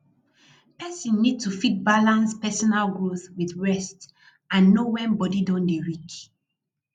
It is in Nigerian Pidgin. person need to fit balance personal growth with rest and know when body don dey weak